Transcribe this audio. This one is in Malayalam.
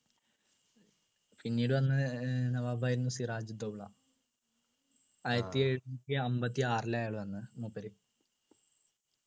പിന്നീട് വന്ന ഏർ നവാബായിരുന്ന് സിറാജു ദൗള ആയിരത്തി എഴുന്നൂറ്റി അമ്പത്തിയാറിലായതാന്ന് മൂപ്പര്